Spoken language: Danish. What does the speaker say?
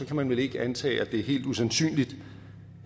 kan man vel ikke antage at det er helt usandsynligt